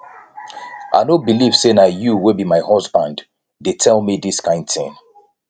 i no believe say na you wey be my husband dey tell me dis kin thing